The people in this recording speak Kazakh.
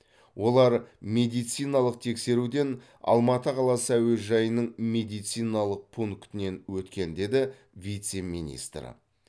олар медициналық тексеруден алматы қаласы әуежайының медициналық пунктінен өткен деді вице министр